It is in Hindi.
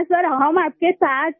सर हम आपके साथ हैं